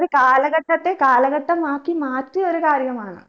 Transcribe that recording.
ഒരു കാലഘട്ടത്തെ കാലഘട്ടമായി മാറ്റിയ ഒരു കാര്യമാണ്